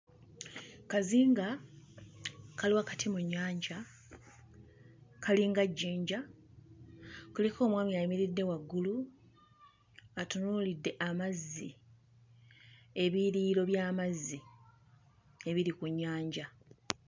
Kazinga kali wakati mu nnyanja kali nga jjinja, kuliko omwami ayimiridde waggulu atunuulidde amazzi ebiyiriro by'amazzi ebiri ku nnyanja.